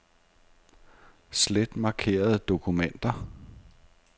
Slet markerede dokumenter.